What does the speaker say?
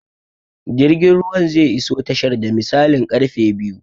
Jirgin ruwan zai iso tashar da misalin karfe biyu